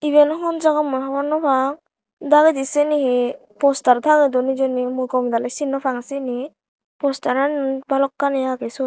iyen hon jaga mui hobor naw pang dagedi siyeni hi poster tangey don hijeni mui gomey daley sin naw pang syeni posterani balokkani agey siyot.